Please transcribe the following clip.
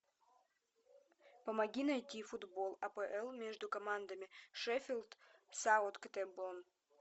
помоги найти футбол апл между командами шеффилд саутгемптон